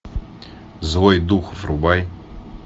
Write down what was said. злой дух врубай